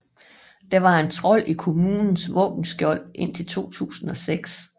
Der var en trold i kommunens våbenskjold indtil 2006